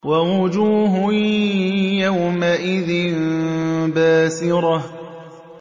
وَوُجُوهٌ يَوْمَئِذٍ بَاسِرَةٌ